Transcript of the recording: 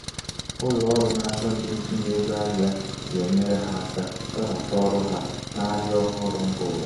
ụlọ ọrụ na-achọ ndị ntinye ego ahịa ga-enyere ha aka webata ọrụ ha n'ahịa ọhụrụ mba ụwa.